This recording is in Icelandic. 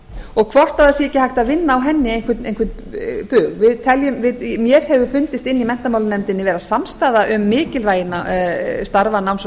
og hvort það sé ekki hægt að vinna á henni einhvern bug mér hefur fundist inni í menntamálanefndinni vera samstaða um mikilvægi starfa náms og